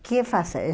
O que fazer?